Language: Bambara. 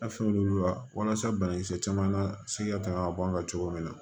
fɛnw la walasa banakisɛ caman na sɛgɛ tanga b'an kan cogo min na